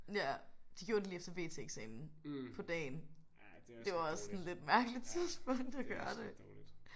Ja. De gjorde det lige efter VT-eksamen. På dagen. Det var også et sådan lidt mærkeligt tidspunkt at gøre det